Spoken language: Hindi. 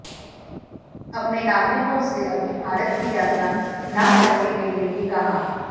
अपने नागरिकों से अभी भारत की यात्रा न करने के लिए भी कहा